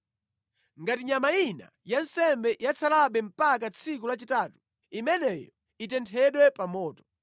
Ngati nyama ina ya nsembe yatsalabe mpaka tsiku lachitatu, imeneyo itenthedwe pa moto.